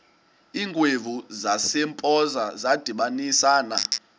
iingwevu zasempoza zadibanisana